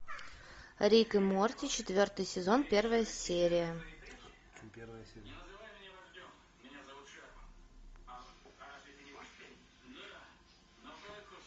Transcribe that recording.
рик и морти четвертый сезон первая серия